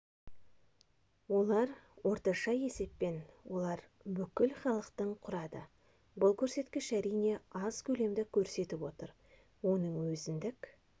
олар орташа есеппен олар бүкіл халықтың құрады бұл көрсеткіш әрине аз көлемді көрсетіп отыр оның өзіндік